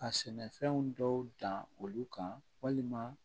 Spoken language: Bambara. Ka sɛnɛfɛnw dɔw dan olu kan walima